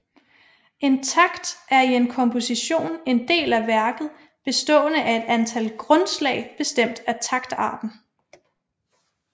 En takt er i en komposition en del af værket bestående af et antal grundslag bestemt af taktarten